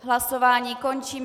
Hlasování končím.